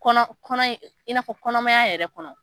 Kɔnɔ, in'a fɔ kɔnɔmaya yɛrɛ kɔnɔ.